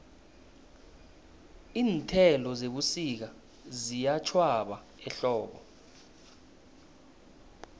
iinthelo zebusika ziyatjhwaba ehlobo